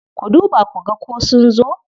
Ku duba ku ga ko sun zo.